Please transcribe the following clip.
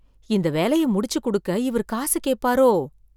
இந்த வேலைய முடிச்சு கொடுக்க இவர் காசு கேட்பாரோ?